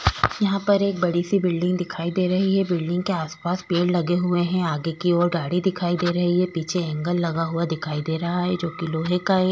यहां पर एक बड़ी सी बिल्डिंग दिखाई दे रही है बिल्डिंग के आसपास पेड़ लगे हुए हैं आगे की ओर गाड़ी दिखाई दे रही है पीछे एंगल लगा हुआ दिखाई दे रहा है जो कि लोहे का --